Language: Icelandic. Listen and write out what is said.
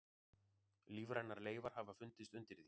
Lífrænar leifar hafa fundist undir því.